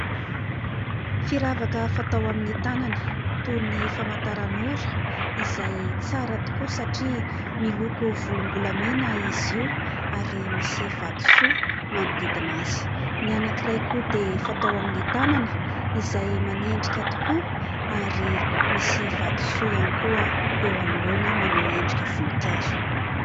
Firavaka fatao amin'ny tanana toy ny famantaran'ora izay tsara tokoa satria miloko volom-bolamena izy io ary misy vatosoa manodidina azy. Ny anankiray koa dia fatao amin'ny tanana izay manendrika tokoa ary misy vatosoa iany koa eo an'oloana manao endrika voninkazo.